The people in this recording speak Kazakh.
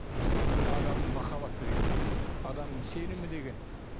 міне адамның махаббаты деген адамның сенімі деген